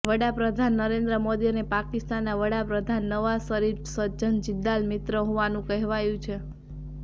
વડાપ્રધાન નરેન્દ્ર મોદી અને પાકિસ્તાનના વડાપ્રધાન નવાઝ શરીફના સજ્જન જિંદાલ મિત્ર હોવાનું કહેવાય છે